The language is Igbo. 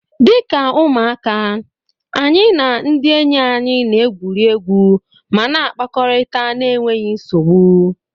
Dị ka ụmụaka, anyị na ndị enyi anyị na-egwuri egwu ma na-akpakọrịta na-enweghi nsogbu.